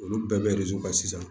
Olu bɛɛ bɛ ka sisan